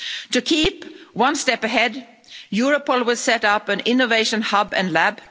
To keep one step ahead, Europol will set up an innovation hub and lab.